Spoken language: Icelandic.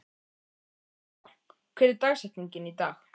Dalla, hver er dagsetningin í dag?